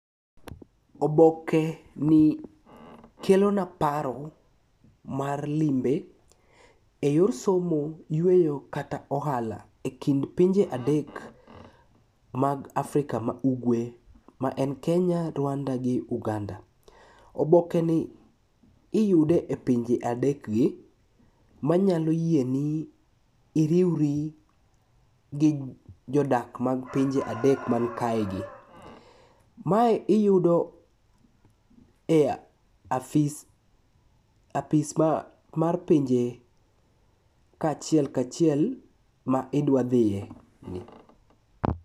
Obokeni kelona paro mar limbe e yor somo, yueyo kata ohala e kind pinje adek mag Afrika ma ugwe ma en Kenya, Rwanda gi Uganda. Obokeni iyude e pinje adekgi manyalo yieni iriwri gi jodak mag pinje adek mankae gi. Mae iyudo e apis mar pinje kachiel kachiel ma idwa dhiye ni.